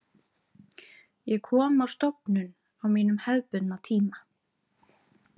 Ég kom á stofnun á mínum hefðbundna tíma.